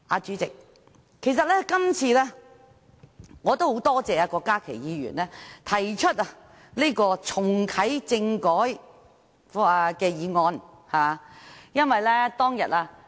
主席，我今次很感謝郭家麒議員提出"促請下任行政長官重啟政改"的議案。